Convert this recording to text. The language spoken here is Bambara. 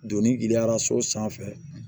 Doni giriyara so sanfɛ